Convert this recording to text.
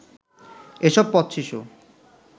এসব পথশিশু